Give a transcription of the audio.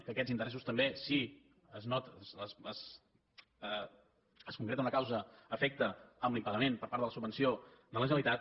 que aquests interessos també si es concreta una causa efecte amb l’impagament per part de la subvenció de la generalitat